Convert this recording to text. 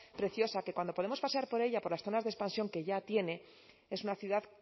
preciosa que cuando podemos pasear por ella por las zonas de expansión que ya tiene es una ciudad